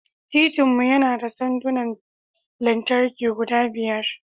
Titin mu yana da sandunan lantarki guda biyar.